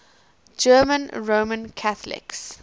german roman catholics